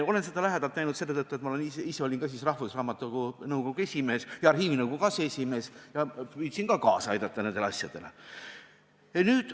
Olen seda lähedalt näinud selle tõttu, et ma ise olin ka rahvusraamatukogu nõukogu esimees ja arhiivinõukogu aseesimees ja püüdsin ka kaasa aidata nendele asjadele.